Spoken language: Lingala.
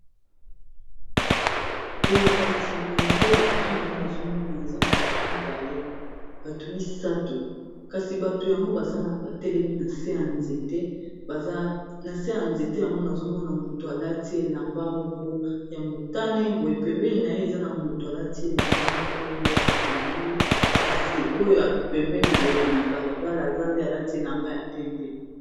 Boye kasi boye nde liboso na wana azomona eza na batu mibale batu misato kasi bato yango baza na ba telemi na se ya nzete na se ya nzete yango nazomona mutu alati elamba moko ya motane boe pembeni na ye eza na mutu alati elamba moko ya pondu kasi oyo pembeni boye ya balabala aza nde alati elamba ya pembe.